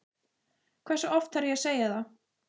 Hversu oft þarf ég að segja það?